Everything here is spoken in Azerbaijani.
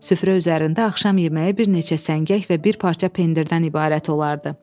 Süfrə üzərində axşam yeməyi bir neçə səngək və bir parça pendirdən ibarət olardı.